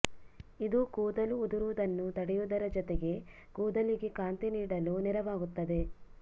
ಇದು ಕೂದಲು ಉದುರುವುದನ್ನು ತಡೆಯುವುದರ ಜೊತೆಗೇ ಕೂದಲಿಗೆ ಕಾಂತಿ ನೀಡಲೂ ನೆರವಾಗುತ್ತದೆ